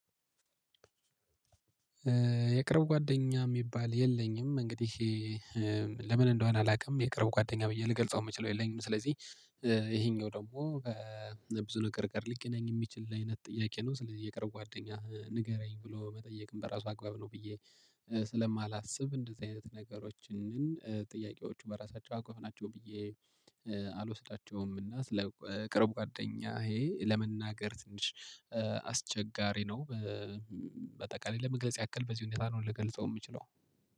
የቅርብ ጓደኛ የሚባል የለኝም። እንግዲህ ለምን እንደሆነ አላውቅም። የቅርብ ጓደኛ ብዬ ልገልጸው የምችለው የለኝም። ስለዚህ ይሄኛው ደግሞ በብዙ ነገር ቀር ነኝ የሚችል አይነት ጥያቄ ነው። ስለዚህ የቀረው ጓደኛ ንገረኝ ብሎ መጠየቅም በራሱ አግባብ ነው። ብዬ ስለማላስብ እንደዚህ አይነት ነገሮችን ጥያቄዎቹ በራሳቸው አጎል ናቸው ብዬ አልወስዳቸውም። እና ስለ ቅርብ ጓደኛ ይሄ ለመናገር ትንሽ አስቸጋሪ ነው። በቀላሉ ለመግለጽ ያክል በዚህ ሁኔታ ነው ልገልጸው የምችለው